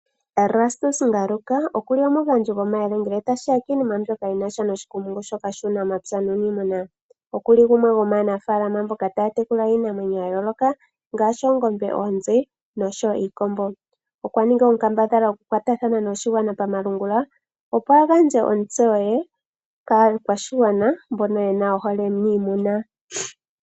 Erastus Ngaruka okuli omugandji gomayele ngele tashiya kiinima mbyoka yinasha noshikumungu shoka shuunamapya nuniimuna. Okuli gumwe gomaanafaalama mboka taya tekula iinamwenyo yayooloka ngaashi, oongembe, oonzi nosho wo iikombo. Okwa ninga onkambadhala okukwatathana noshigwana pamalungula opo agandje otseyo ye kaakwashigwana mbono yena ohole miimuna.